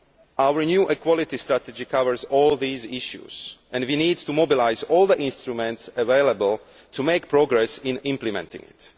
Our new equality strategy covers all these issues and we need to mobilise all the instruments available to make progress in implementing it.